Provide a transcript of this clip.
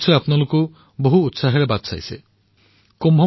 কুম্ভ মেলালৈ সন্তমহাত্মাৰ আগমন আৰম্ভ হৈছে